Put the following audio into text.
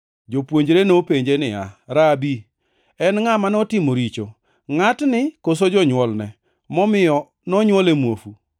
Jopuonjre nopenje niya, “Rabi, en ngʼa ma notimo richo; ngʼatni koso jonywolne, momiyo nonywole muofu?”